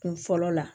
Kun fɔlɔ la